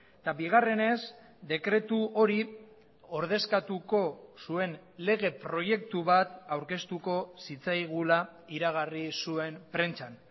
eta bigarrenez dekretu hori ordezkatuko zuen lege proiektu bat aurkeztuko zitzaigula iragarri zuen prentsan